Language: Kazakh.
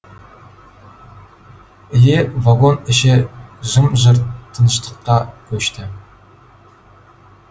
іле вагон іші жым жырт тыныштыққа көшті